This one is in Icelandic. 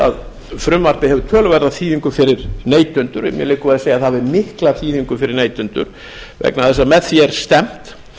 að frumvarpið hefur töluverða þýðingu fyrir neytendur mér liggur við að segja að það hafi mikla þýðingu fyrir neytendur vegna þess að með því er stefnt